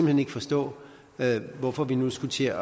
hen ikke forstå hvorfor vi nu skulle til at